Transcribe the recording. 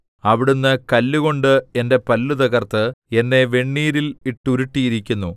അവിടുന്ന് കല്ലുകൊണ്ട് എന്റെ പല്ല് തകർത്ത് എന്നെ വെണ്ണീരിൽ ഇട്ടുരുട്ടിയിരിക്കുന്നു